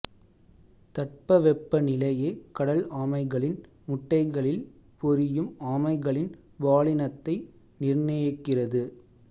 தட்பவெப்ப நிலையே கடல் ஆமைகளின் முட்டைகளில் பொரியும் ஆமைகளின் பாலினத்தை நிர்ணயிக்கிறது